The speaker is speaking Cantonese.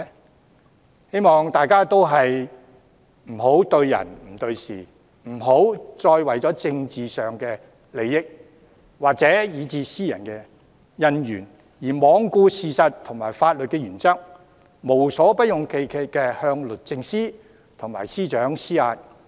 我希望大家不要對人不對事，不要再為政治利益或私人恩怨而罔顧事實和法律原則，無所不用其極地向律政司及司長施壓。